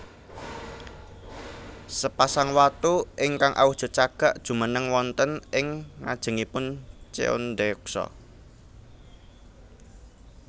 Sepasang watu ingkang awujud cagak jumeneng wonten ing ngajengipun Cheondeoksa